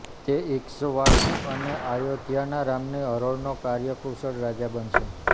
તે ઇક્ષવાકુ અને આયોધ્યાના રામની હરોળનો કાર્યકુશળ રાજા બનશે